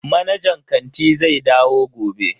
Manajan kanti zai dawo gobe.